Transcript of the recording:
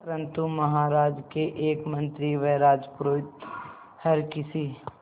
परंतु महाराज के एक मंत्री व राजपुरोहित हर किसी